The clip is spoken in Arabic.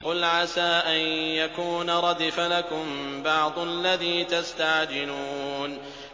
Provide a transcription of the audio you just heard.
قُلْ عَسَىٰ أَن يَكُونَ رَدِفَ لَكُم بَعْضُ الَّذِي تَسْتَعْجِلُونَ